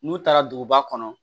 N'u taara duguba kɔnɔ